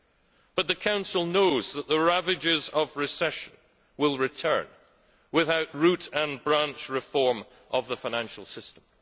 However, the Council knows that the ravages of recession will return without root and branch reform of the financial system.